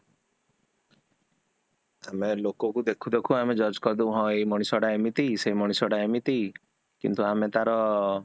ଆମେ ଲୋକକୁ ଦେଖୁ ଦେଖୁ ଆମେ ଜଜ କରି ଦେବୁ ହଁ ଏଇ ମଣିଷଟା ଏମିତି, ସେଇ ମଣିଷଟା ଏମିତି କିନ୍ତୁ ଆମେ ତାର